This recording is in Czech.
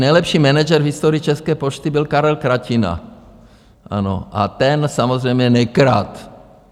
Nejlepší manažer v historii České pošty byl Karel Kratina, ano, a ten samozřejmě nekradl.